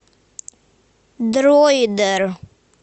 дроидер